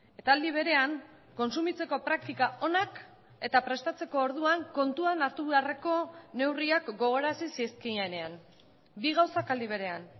eta aldi berean kontsumitzeko praktika onak eta prestatzeko orduan kontuan hartu beharreko neurriak gogorarazi zizkienean bi gauzak aldi berean